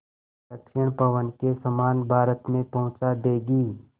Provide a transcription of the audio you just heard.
दक्षिण पवन के समान भारत में पहुँचा देंगी